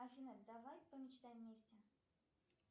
афина давай помечтаем вместе